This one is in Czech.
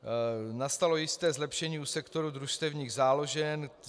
Nastalo jisté zlepšení u sektoru družstevních záložen.